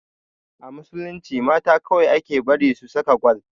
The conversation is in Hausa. A musulunci mata kawai ake bari su saka gwal